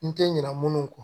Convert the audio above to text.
N tɛ ɲinɛ minnu kɔ